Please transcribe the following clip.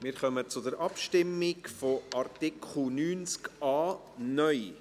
Wir kommen zur Abstimmung zu Artikel 90a (neu).